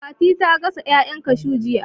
Fatima ta gasa ƴaƴan kashuw jiya